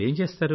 మీరేం చేస్తారు